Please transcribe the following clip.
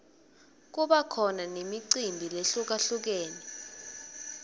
kuba khona nemicimbi lehlukalhlukene